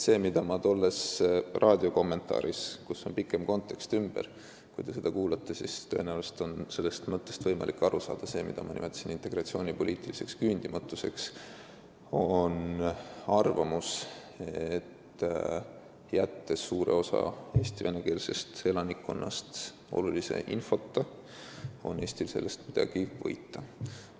See, mida ma tolles raadiokommentaaris, kus on laiem kontekst ümber – kui te seda kuulate, siis on tõenäoliselt võimalik sellest mõttest aru saada –, nimetasin integratsioonipoliitiliseks küündimatuseks, on arvamus, et kui jätta suur osa Eesti venekeelsest elanikkonnast olulise infota, siis ei ole Eestil sellest midagi võita.